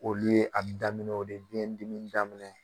Olu ye a be daminɛ o de biyɛn dimi daminɛ